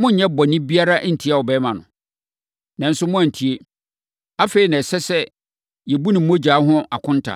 monnyɛ bɔne biara ntia abarimaa no? Nanso moantie! Afei na ɛsɛ sɛ yɛbu ne mogya ho akonta”